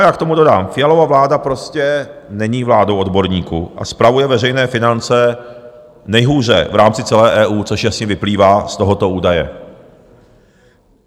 A já k tomu dodám: Fialova vláda prostě není vládou odborníků a spravuje veřejné finance nejhůře v rámci celé EU, což jasně vyplývá z tohoto údaje.